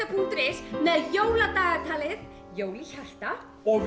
punktur is með jóladagatalið jól í hjarta og